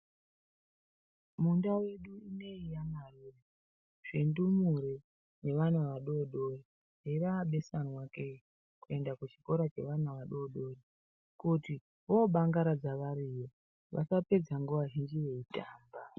Mundau yedu ino iyi yaMarure, zvindumure nevana vadoodori zveraabesanwake, kuende kuchikora chevana vadoodori kuti voobangaradza variyo, vasapedza nguwa zhinji veitamba.